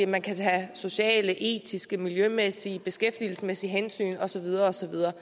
man kan tage sociale etiske miljømæssige beskæftigelsesmæssige hensyn og så videre og så videre